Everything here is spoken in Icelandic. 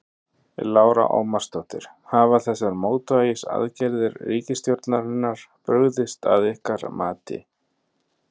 Lára Ómarsdóttir: Hafa þessar mótvægisaðgerðir ríkisstjórnarinnar brugðist að ykkar mati?